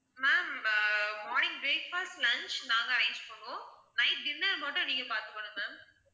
ma'am ah morning breakfast lunch நாங்க arrange பண்ணுவோம் night dinner மட்டும் நீங்க பாத்துக்கணும் ma'am